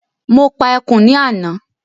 Mo pa ẹkùn ní àná